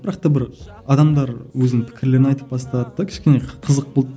бірақ та бір адамдар өзінің пікірлерін айтып бастады да кішкене қызық болды